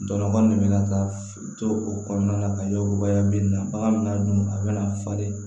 Dɔgɔnɔ de bɛ na ka to o kɔnɔna na ka yamaruya min na bagan bɛ n'a dun a bɛna falen